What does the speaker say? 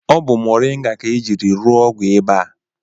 Ọ bụ moringa ka ejiri rụọ ọgwụ ịba a